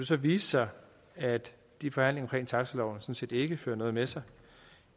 så vise sig at de forhandlinger om taxaloven ikke fører noget med sig